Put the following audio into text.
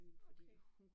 Okay